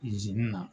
na